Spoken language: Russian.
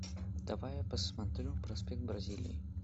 давай я посмотрю проспект бразилии